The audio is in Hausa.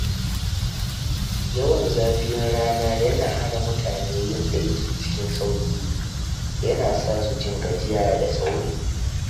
Yawan zafin rana yana hana mutane yin aiki cikin sauƙi, yana sa su jin gajiya da sauri.